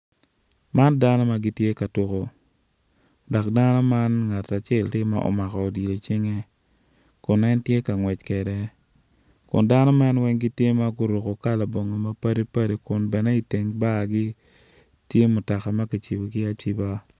Man dano ma gitye ka tuko dok dano man ngat acel tye ma omako odilo icinge kun en tye k angwec kede kun dano man weng gitye ma guruko kala bongo mapadi padi kun bene iteng bargi tye mutoka ma kicibogi aciba.